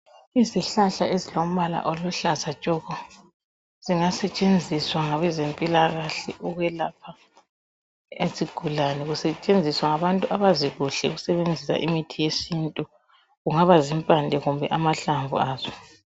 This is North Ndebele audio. Izihlahla ezilombala oluhlaza tshoko zingasetshenziswa ngabezempilakahle ukwelapha izigulane kusetshenziswa ngabantu abazi kuhle ukusebenzisa imithi yesintu kungaba zimpande kumbe amahlamvu aso.